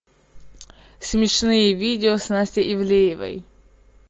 смешные видео с настей ивлеевой